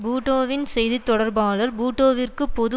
பூட்டோவின் செய்தி தொடர்பாளர் பூட்டோவிற்கு பொது